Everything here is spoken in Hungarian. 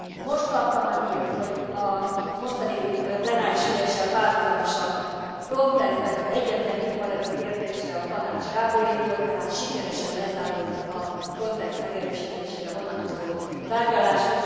Most kaptam a hírt, hogy a mostani plenáris üléssel párhuzamosan a Frontexben az egyetlen nyitva levő kérdésre a Tanács rábólintott, tehát sikeresen lezárult a Frontex megerősítésére vonatkozó tárgyalás.